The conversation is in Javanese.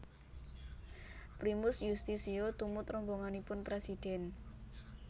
Primus Yustisio tumut rombonganipun presiden